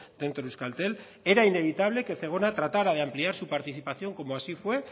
dentro de euskaltel era innevitable que zegona tratara de ampliar su participación como así fue